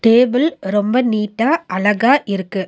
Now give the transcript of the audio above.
Table ரொம்ப நீட்டா அழகா இருக்கு.